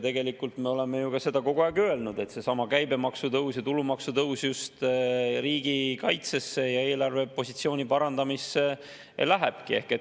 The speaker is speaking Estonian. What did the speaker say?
Tegelikult me oleme ju seda kogu aeg öelnud, et seesama käibemaksutõus ja tulumaksutõus just riigikaitsesse ja eelarvepositsiooni parandamisse lähebki.